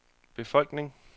befolkning